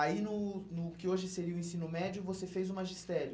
Aí, no no que hoje seria o ensino médio, você fez o magistério.